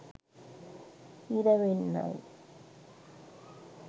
හිර වෙන්නයි.